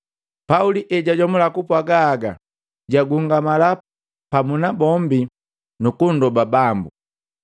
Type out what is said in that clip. Pauli ejajomula kupwaga haga, jagungamala pamu na bombi nukunndoba Bambu.